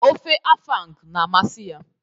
Ofe afang na amasi ya.